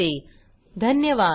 सहभागासाठी धन्यवाद